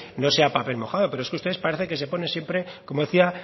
no sea papel mojado pero es que ustedes parece que se pone siempre como decía